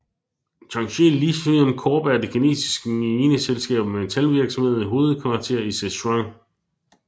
Tianqi Lithium Corp er et kinesisk mineselskab og metalvirksomhed med hovedkvarter i Sichuan